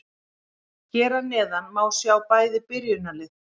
Hér að neðan má sjá bæði byrjunarlið.